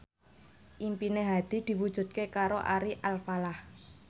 impine Hadi diwujudke karo Ari Alfalah